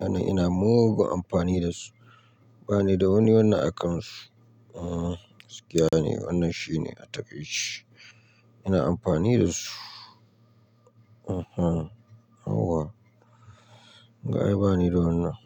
Ana ina mugun amfani da su. Ba ni da wani wannan akansu. Hmm gaskiya ne wannan shine a takaice shi. Ina amfani da su. Eeh hmm yawwa. Ga ai ba ni da wannan.